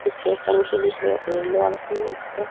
पीछे एक टंकी दिख रेहो येलो --